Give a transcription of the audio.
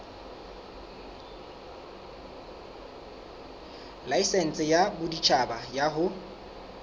laesense ya boditjhaba ya ho